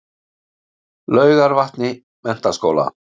Laugarvatni Menntaskóla